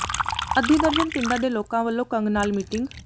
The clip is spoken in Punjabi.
ਅੱਧੀ ਦਰਜਨ ਪਿੰਡਾਂ ਦੇ ਲੋਕਾਂ ਵੱਲੋਂ ਕੰਗ ਨਾਲ ਮੀਟਿੰਗ